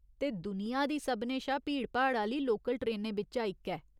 ते दुनिया दी सभनें शा भीड़ भाड़ आह्‌ली लोकल ट्रेनें बिच्चा इक ऐ।